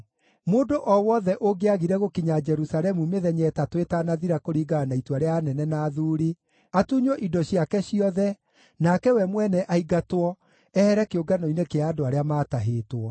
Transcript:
Mũndũ o wothe ũngĩagire gũkinya Jerusalemu mĩthenya ĩtatũ ĩtanathira kũringana na itua rĩa anene na athuuri, atunywo indo ciake ciothe, nake we mwene aingatwo, ehere kĩũngano-inĩ kĩa andũ arĩa maatahĩtwo.